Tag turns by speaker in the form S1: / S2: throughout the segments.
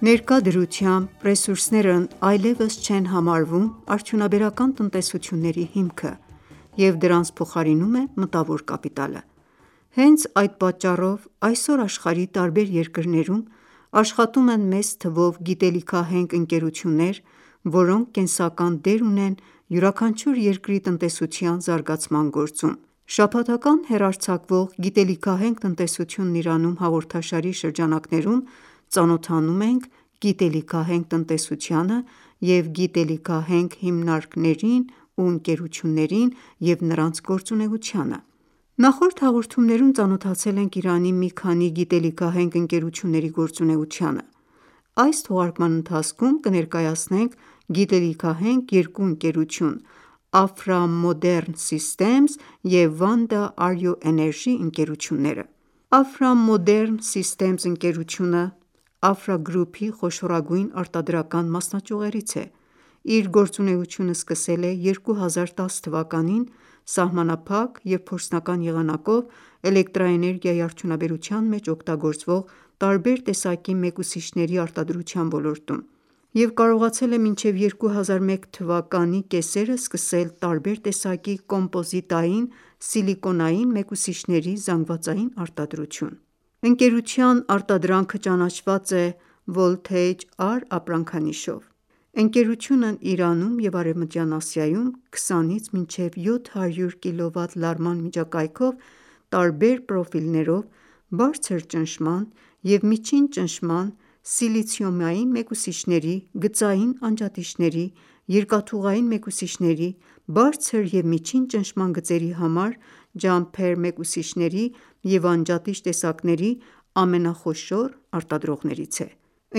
S1: Ներկա դրությամբ ռեսուրսներն այլևս չեն համարվում արդյունաբերական տնտեսությունների հիմքը, և դրանց փոխարինում է մտավոր կապիտալը: Հենց այդ պատճառով, այսօր աշխարհի տարբեր երկրներում աշխատում են մեծ թվով գիտելիքահենք ընկերություններ, որոնք կենսական դեր ունեն յուրաքանչյուր երկրի տնտեսության զարգացման գործում: Շաբաթական հեռարձակվող «Գիտելիքահենք տնտեսությունն Իրանում» հաղորդաշարի շրջանակներում, ծանոթանում ենք գիտելիքահենք տնտեսությանը և գիտելիքահենք հիմնարկներին ու ընկերություններին: Նախորդ հաղորդումներում ծանոթացել ենք Իրանի մի քանի գիտելիքահենք ընկերությունների գործունեությանը։ Այս թողարկման ընթացքում կներկայացնենք գիտելիքահենք երկու ընկերություն՝ «Afra Modern systems» և «Vanda Ario Energy» ընկերությունները։ «Afra Modern systems» ընկերությունը, Afra Group-ի խոշորագույն արտադրական մասնաճյուղերից է: Իր գործունեությունը սկսել է 2010 թվականին (իրանական 1389 թ.) սահմանափակ և փորձնական եղանակով՝ էլեկտրաէներգիայի արդյունաբերության մեջ օգտագործվող տարբեր տեսակի մեկուսիչների արտադրության ոլորտում և կարողացել է մինչև 2001 թվականի (իրանական1390 թ.) կեսերը սկսել տարբեր տեսակի կոմպոզիտային սիլիկոնային մեկուսիչների զանգվածային արտադրություն: Ընկերության արտադրանքը ճանաչված է «Voltage®» ապրանքանիշով։ Ընկերությունն Իրանում և Արևմտյան Ասիայում 20-ից մինչև 700 կՎ լարման միջակայքով տարբեր պրոֆիլներով բարձր ճնշման և միջին ճնշման սիլիցիումային մեկուսիչների, գծային անջատիչների, երկաթուղային մեկուսիչների, բարձր և միջին ճնշման գծերի համար ջամփեր մեկուսիչների և անջատիչ տեսակների ամենախոշոր արտադրողներից է։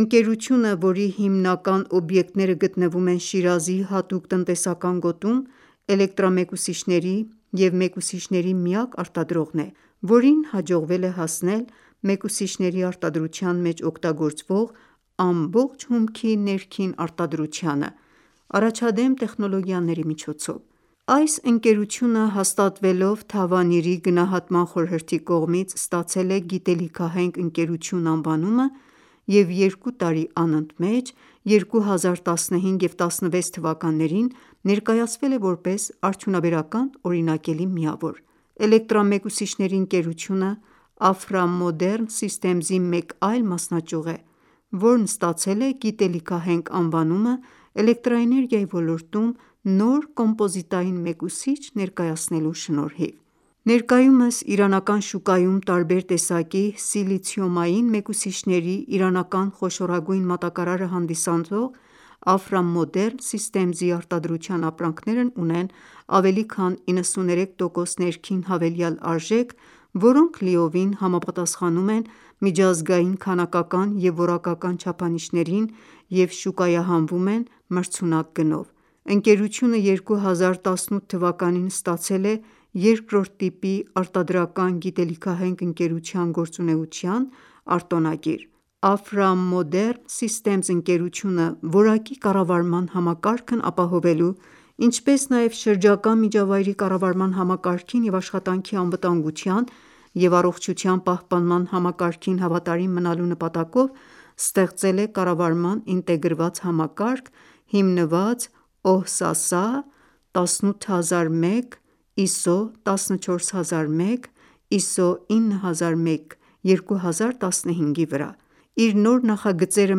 S1: Ընկերությունը, որի հիմնական օբյեկտները գտնվում են Շիրազի հատուկ տնտեսական գոտում, էլեկտրամեկուսիչների և մեկուսիչների միակ արտադրողն է, որին հաջողվել է հասնել մեկուսիչների արտադրության մեջ օգտագործվող ամբողջ հումքի ներքին արտադրությանը՝ առաջադեմ տեխնոլոգիաների միջոցով։ Այս ընկերությունը, հաստատվելով Թավանիրի գնահատման խորհրդի կողմից, ստացել է «Գիտելիքահենք ընկերություն» անվանումը և երկու տարի անընդմեջ 2015 և 2016 թթ. ներկայացվել է որպես «Արդյունաբերական օրինակելի միավոր»։ Էլեկտրամեկուսիչների ընկերությունը «Afra Modern systems» -ի մեկ այլ մասնաճյուղ է, որն ստացել գիտելիքահենք անվանումը՝ էլեկտրաէներգիայի ոլորտում նոր կոմպոզիտային մեկուսիչ ներկայացնելու շնորհիվ։ Ներկայումս իրանական շուկայում տարբեր տեսակի սիլիցիումային մեկուսիչների իրանական խոշորագույն մատակարարը հանդիսացող «Afra Modern systems» -ի արտադրության ապրանքներն ունեն ավելի քան 93 տոկոս ներքին հավելյալ արժեք, որոնք լիովին համապատասխանում են միջազգային քանակական և որակական չափանիշներին և շուկայահանվում են մրցունակ գնով: Ընկերությունը 2018 թվականին ստացել է 2-րդ տիպի արտադրական գիտելիքահենք ընկերության գործունեության արտոնագիր: «Afra Modern»համակարգերի ընկերություն «Afra Modern Systems» ընկերությունը, որակի կառավարման համակարգն ապահովելու, ինչպես նաև շրջակա միջավայրի կառավարման համակարգին և աշխատանքի անվտանգության և առողջության պահպանման համակարգին հավատարիմ մնալու նպատակով, ստեղծել է կառավարման ինտեգրված համակարգ՝ հիմնված OHSASA 18001:2007, ISO 14001:2015,ISO 9001:2015-ի վրա։ Իր նոր նախագծերը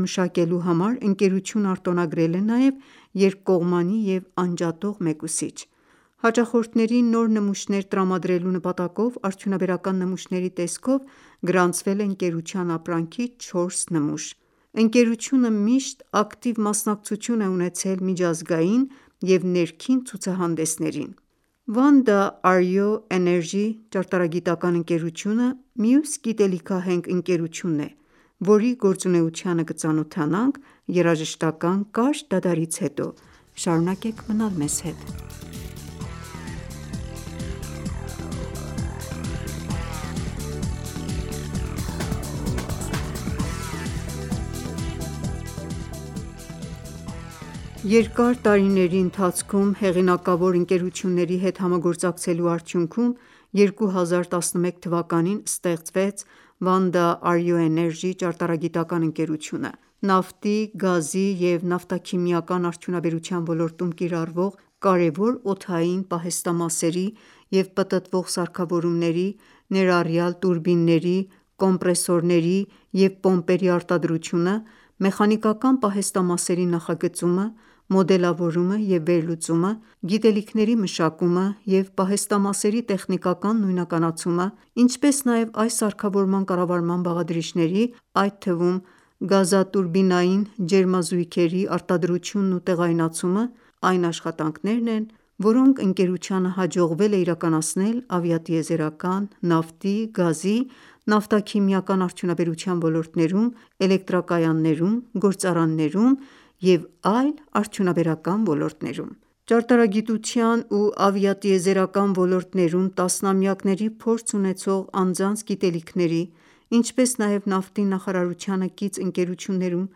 S1: մշակելու համար ընկերությունը արտոնագրել է նաև երկկողմանի և անջատող մեկուսիչ: Հաճախորդներին նոր նմուշներ տրամադրելու նպատակով արդյունաբերական նմուշների տեսքով գրանցվել է ընկերության ապրանքի 4 նմուշ։ Ընկերությունը միշտ ակտիվ մասնակցություն է ունեցել միջազգային և ներքին ցուցահանդեսներին: Jumper մեկուսիչ «Vanda Ario Energy» ճարտարագիտական ընկերությունը մյուս գիտելիքահենք ընկերությունն է, որի գործունեությանը կծանոթանանք երաժշտական կարճ դադարից հետո: Շարունակեք մնալ մեզ հետ: Երկար տարիների ընթացքում հեղինակավոր ընկերությունների հետ համագործակցելու արդյուքնում, 2011 թվականին ստեղծվեց «Vanda Ario Energy» ճարտարագիտական ընկերությունը: Նավթի, գազի և նավթաքիմիական արդյունաբերության ոլորտում կիրառվող կարևոր օդային պահեստամասերի և պտտվող սարքավորումների, ներառյալ՝ տուրբինների, կոմպրեսորների և պոմպերի արտադրությունը մեխանիկական պահեստամասերի նախագծումը, մոդելավորումը և վերլուծումը, գիտելիքների մշակումը և պահեստամասերի տեխնիկական նույնականացումը, ինչպես նաև այս սարքավորման կառավարման բաղադրիչների, այդ թվում գազատուրբինային ջերմազույգերի (Type K) արտադրությունն ու տեղայնացումը, այն աշխատանքներն են, որոնք ընկերությանը հաջողվել է իրականացնել ավիատիեզերական, նավթի, գազի, նավթաքիմիական արդյունաբերության ոլորտներում, էլեկտրակայաններում, գործարաններում և այլ արդյունաբերական ոլորտներում: Ճարտարագիտության ու ավիատիեզերական ոլորտներում տասնամյակների փորձ ունեցող անձանց գիտելիքների, ինչպես նաև նավթի նախարարությանը կից ըներություններում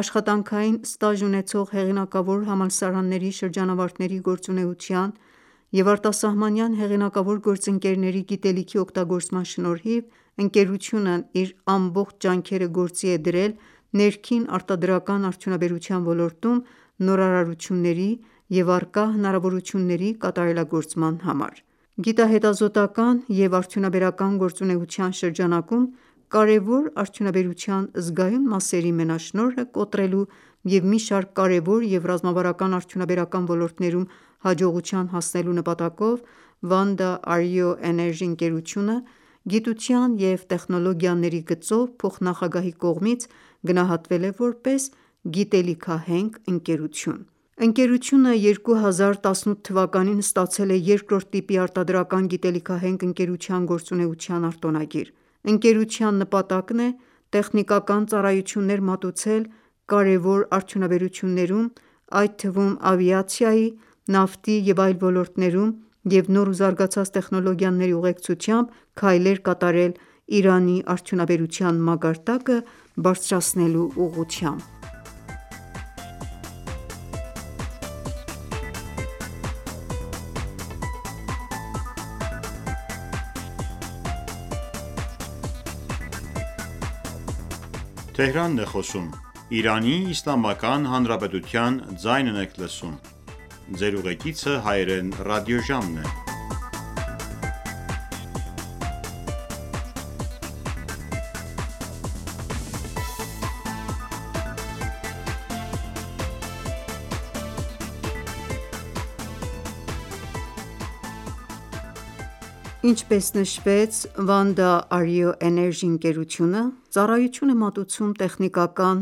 S1: աշխատանքային ստաժ ունեցող հեղինակավոր համալսարանների շրջանավարտների գործունեության և արտասահմանյան հեղինակավոր գործընկերների գիտելիքի օգտագործման շնորհիվ, ընկերությունն իր ամբողջ ջանքերը գործի է դրել ներքին արտադրական արդյունաբերության ոլորտում նորարարությունների և առկա հնարավորությունների կատարելագործման համար: Գիտահետազոտական ​​և արդյունաբերական գործունեության շրջանակում կարևոր արդյունաբերության զգայուն մասերի մենաշնորհը կոտրելու և մի շարք կարևոր և ռազմավարական արդյունաբերական ոլորտներում հաջողության հասնելու նպատակով, «Vanda Ario Energy» ընկերությունը գիտության և տեխնոլոգիաների գծով փոխնախագահի կողմից գնահատվել է որպես գիտելիքահենք ընկերություն: Ընկերությունը 2018 թվականին ստացել է 2-րդ տիպի արտադրական գիտելիքահենք ընկերության գործունեության արտոնագիր: Ընկերության նպատակն է տեխնիկական ծառայություններ մատուցել կարևոր արդյունաբերություններում, այդ թվում ավիացիայի, նավթի և այլ ոլորտներում և նոր ու զարգացած տեխնոլոգիաների ուղեկցությամբ քայլեր կատարել Իրանի արդյունաբերության մակարդակը բարձրացնելու ուղղությամբ: Ինչպես նշվեց, ընկերությունը ծառայություն է մատուցում տեխնիկական,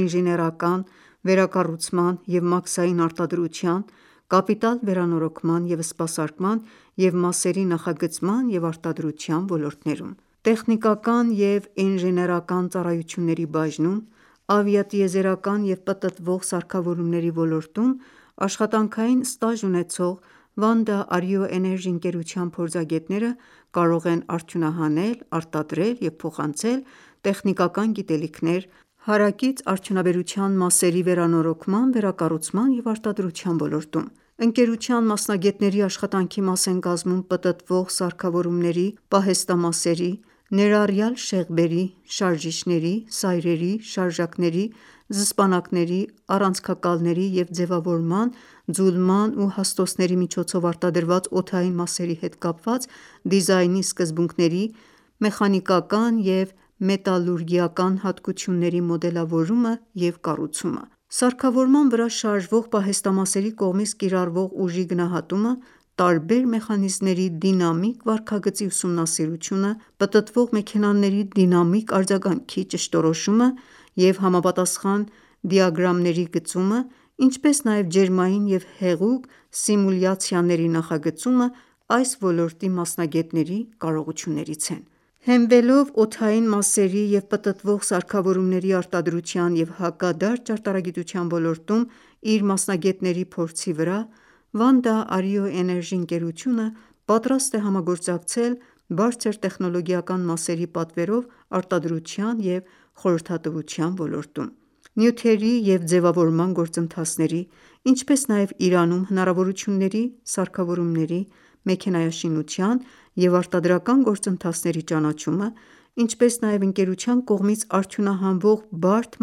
S1: ինժեներական, վերակառուցման և մաքսային արտադրության, կապիտալ վերանորոգման և սպասարկման, և մասերի նախագծման և արտադրության ոլորտներում: Տեխնիկական և ինժեներական ծառայությունների բաժնում, ավիատիեզերական և պտտվող սարքավորումների ոլորտում աշխատանքային ստաժ ունեցող «Vanda Ario Energy» ընկերության փորձագետները կարող են արդյունահանել, արտադրել և փոխանցել տեխնիկական գիտելիքներ՝ հարակից արդյունաբերության մասերի վերանորոգման, վերակառուցման և արտադրության ոլորտում: Ընկերության մասնագետների աշխատանքի մաս են կազմում պտտվող սարքավորումների պահեստամասերի, ներառյալ շեղբերի, շարժիչների, սայրերի, շարժակների, զսպանակների, առանցքակալների և ձևավորման, ձուլման ու հաստոցների միջոցով արտադրված օդային մասերի հետ կապված դիզայնի սկզբունքների, մեխանիկական և մետալուրգիական հատկությունների մոդելավորումը և կառուցումը: Սարքավորման վրա շարժվող պահեստամասերի կողմից կիրառվող ուժի գնահատումը, տարբեր մեխանիզմների դինամիկ վարքագծի ուսումնասիրությունը, պտտվող մեքենաների դինամիկ արձագանքի ճշտորոշումը և համապատասխան դիագրամների գծումը, ինչպես նաև ջերմային և հեղուկ սիմուլյացիաների նախագծումը այս ոլորտի մասնագետների կարողություններից են: Տեխնիկական ու ինժեներական ծառայություններ Հենվելով օդային մասերի և պտտվող սարքավորումների արտադրության և հակադարձ ճարտարագիտության ոլորտում իր մասնագետների փորձի վրա՝ «Vanda Ario Energy» ընկերությունը պատրաստ է համագործակցել բարձր տեխնոլոգիական մասերի պատվերով արտադրության և խորհրդատվության ոլորտում: Նյութերի և ձևավորման գործընթացների, ինչպես նաև Իրանում հնարավորությունների, սարքավորումների, մեքենայաշինության և արտադրական գործընթացների ճանաչումը, ինչպես նաև ընկերության կողմից արդյունահանվող բարդ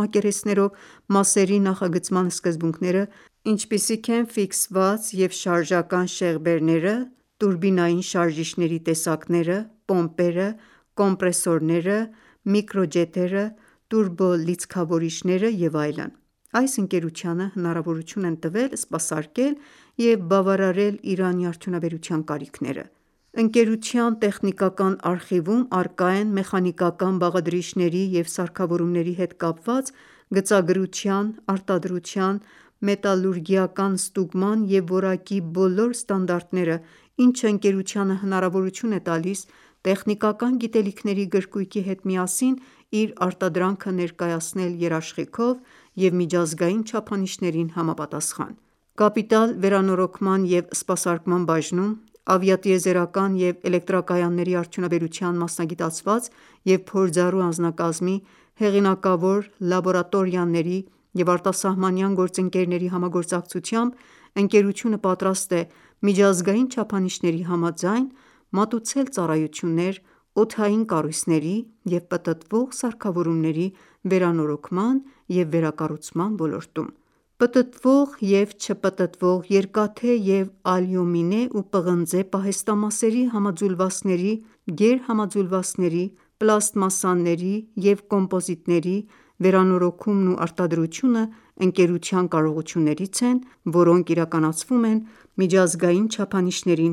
S1: մակերեսներով մասերի նախագծման սկզբունքները, ինչպիսիք են՝ ֆիքսված և շարժական շեղբերները, տուրբինային շարժիչների տեսակները, պոմպերը, կոմպրեսորները, միկրոջետերը, տուրբո լիցքավորիչները և այլն, այս ընկերությանը հնարավորություն են տվել սպասարկել և բավարարել Իրանի արդյունաբերության կարիքները: Ընկերության տեխնիկական արխիվում առկա են մեխանիկական բաղադրիչների և սարքավորումների հետ կապված գծագրության, արտադրության, մետալուրգիական, ստուգման և որակի բոլոր ստանդարտները, ինչը ընկերությանը հնարավորություն է տալիս՝ տեխնիկական գիտելիքների գրքույկի հետ միասին իր արտադրանքը ներկայացնել երաշխիքով և միջազգային չափանիշներին համապատասխան: Կապիտալ վերանորոգման և սպասարկման բաժնում, ավիատիեզերական և էլեկտրակայանների արդյունաբերության մասնագիտացված և փորձառու անձնակազմի, հեղինակավոր լաբորատորիաների և արտասահմանյան գործընկերների համագործակցությամբ, ընկերությունը պատրաստ է միջազգային չափանիշների համաձայն մատուցել ծառայություններ՝ օդային կառույցների և պտտվող սարքավորումների վերանորոգման և վերակառուցման ոլորտում: Կապիտալ վերանորոգում Պտտվող և չպտտվող երկաթե և ալյումինե ու պղնձե պահեստամասերի համաձուլվածքների, գերհամաձուլվածքների, պլաստմասսաների և կոմպոզիտների, վերանորոգումն ու արտադրությունը ընկերության կարողություններից են, որոնք իրականացվում են միջազգային չափանիշներին